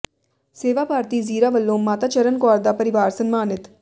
ਸੇਵਾ ਭਾਰਤੀ ਜ਼ੀਰਾ ਵੱਲੋਂ ਮਾਤਾ ਚਰਨ ਕੌਰ ਦਾ ਪਰਿਵਾਰ ਸਨਮਾਨਿਤ